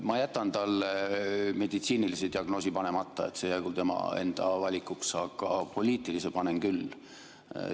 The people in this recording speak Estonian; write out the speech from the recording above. Ma jätan talle meditsiinilise diagnoosi panemata, see jäägu tema enda valikuks, aga poliitilise panen küll.